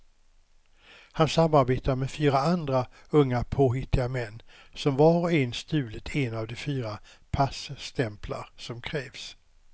Han samarbetar med fyra andra unga påhittiga män som var och en stulit en av de fyra passtämplar som krävs.